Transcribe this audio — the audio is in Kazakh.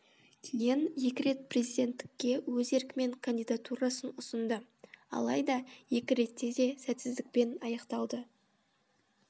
кейін екі рет президенттікке өз еркімен кандидатурасын ұсынды алайда екі ретте де сәтсіздікпен аяқталды